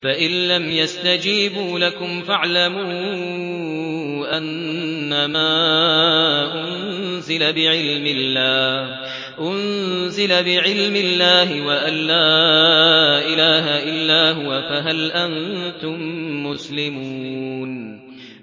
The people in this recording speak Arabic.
فَإِلَّمْ يَسْتَجِيبُوا لَكُمْ فَاعْلَمُوا أَنَّمَا أُنزِلَ بِعِلْمِ اللَّهِ وَأَن لَّا إِلَٰهَ إِلَّا هُوَ ۖ فَهَلْ أَنتُم مُّسْلِمُونَ